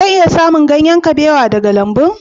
Zan iya samun ganyen kabewa daga lambun?